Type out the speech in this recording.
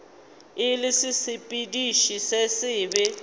e le sesepediši se sebe